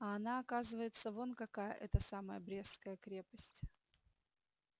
а она оказывается вон какая эта самая брестская крепость